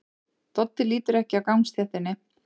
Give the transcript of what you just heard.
Doddi lítur ekki af gangstéttinni.